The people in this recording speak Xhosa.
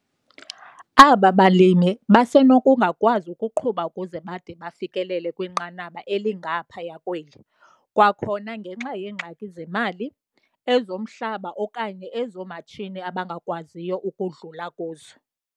Aba balimi basenokungakwazi ukuqhuba ukuze bade bafikelele kwinqanaba elingaphaya kweli, kwakhona ngenxa yeengxaki zemali, ezomhlaba okanye ezoomatshini abangakwaziyo ukudlula kuzo.